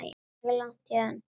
Það er ekki langt héðan.